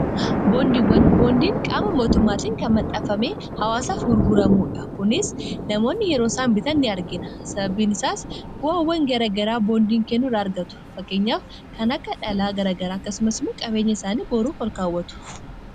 boondiiwwan boondiin qaama mootummaatiin kan maxxafame hawaasaaf gurguramuudha kunis namoonni yeroo saanbita ni argina sababiin isaas bu'awwan garagaraa boondiin kennur argatu fakkeenyaaf kan akka dhalaa garagaraa kasumasmu qabeenya isaanii booruuf falkaawwatu